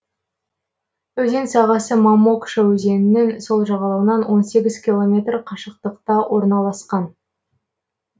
өзен сағасы мамокша өзенінің сол жағалауынан он сегіз километр қашықтықта орналасқан